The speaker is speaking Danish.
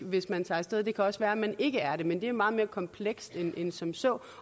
hvis man tager af sted det kan også være at man ikke er det men det er meget mere komplekst end end som så